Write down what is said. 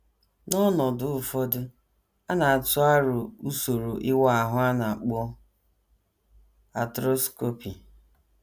N’ọnọdụ ụfọdụ, a na - atụ aro usoro ịwa ahụ a na - akpọ arthroscopy.